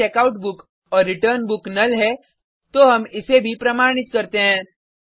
यदि Checkout book और Return Book null है तो हम इसे भी प्रमाणित करते हैं